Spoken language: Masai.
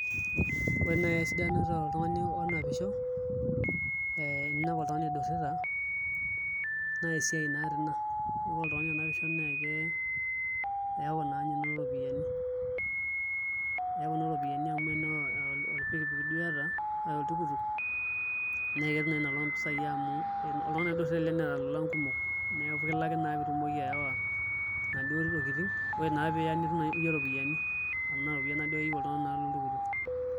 Ore nai esidano toltungani onapisho ee teninepu oidurita naa esiae naatii Ina ore oltungani onapisho naake eeku naanye inoto ropiyiani eeku inoto ropini amu eno oolpikipik duo iyata aa oltukutuk neketum naa inoolong mpisai amu oltungani oidurita ele neeta lolan kumok neeku naa kilaki naa piitumoki ayawa inaduo tokini ore naa piiya nitum naakeyie ropiyiani amu Nena ropiyiani naaduake eyiu oltungani loltukutuk